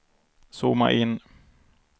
zooma in